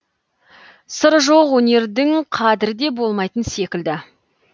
сыры жоқ өнердің қадірі де болмайтын секілді